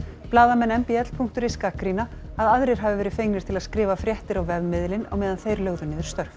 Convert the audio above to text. blaðamenn m b l punktur is gagnrýna að aðrir hafi verið fengnir til að skrifa fréttir á vefmiðilinn á meðan þeir lögðu niður störf